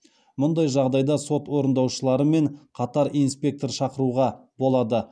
мұндай жағдайда сот орындаушыларымен қатар инспектор шақыруға болады